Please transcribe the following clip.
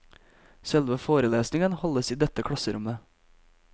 Selve forelesningen holdes i dette klasserommet.